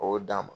O y'o d'a ma